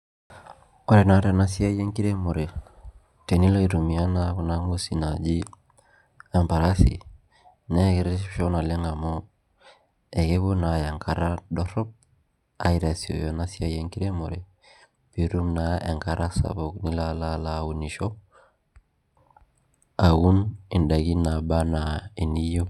Ore na tenasiai enkiremore tenilo aitumia na kunangwesi naji emparasi na keretisho naleng amu akepuo na atlya enkata dorop aitasioyo enasiai enkiremore pitum na enkata sapuk nilo na alo aunisho aun ndakini nabaa ana niyieu.